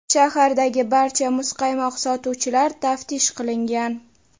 Shahardagi barcha muzqaymoq sotuvchilar taftish qilingan.